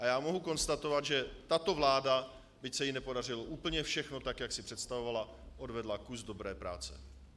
A já mohu konstatovat, že tato vláda, byť se jí nepodařilo úplně všechno tak, jak si představovala, odvedla kus dobré práce.